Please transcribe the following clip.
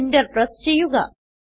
enter press ചെയ്യുക